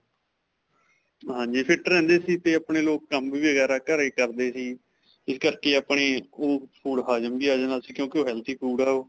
ਹਾਂਜੀ, fit ਰਹਿੰਦੇ ਸੀ 'ਤੇ ਆਪਣੇ ਲੋਕ ਕੰਮ ਵਗੈਰਾ, ਘਰੇ ਹੀ ਕਰਦੇ ਸੀ. ਇਸ ਕਰਕੇ ਆਪਣੇ ਓਹ food ਹਜਮ ਵੀ ਜਾਂਦਾ ਸੀ ਕਿਉਂਕਿ ਓਹ healthy food ਆ ਓਹ.